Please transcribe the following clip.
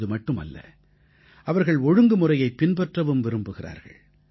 இதுமட்டுமல்ல அவர்கள் ஒழுங்குமுறையைப் பின்பற்றவும் விரும்புகிறார்கள்